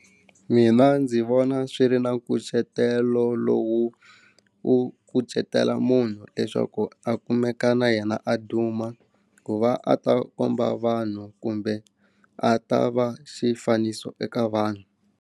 Mina ndzi vona swi ri na nkucetelo lowu u kucetela munhu leswaku a kumeka na yena a duma ku va a ta komba vanhu kumbe a ta va xifaniso eka vanhu.